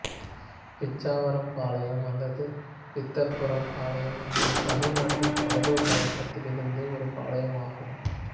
பிச்சாவரம் பாளையம் அல்லது பித்தர்புரம் பாளையம் என்பது தமிழ்நாட்டின் கடலூர் மாவட்டத்தில் இருந்த ஒரு பாளையம் ஆகும்